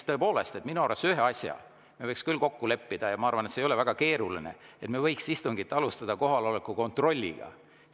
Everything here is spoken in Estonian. Tõepoolest, minu arvates ühe asja me võiks küll kokku leppida ja ma arvan, et see ei ole väga keeruline: me võiks istungit alustada kohaloleku kontrolliga.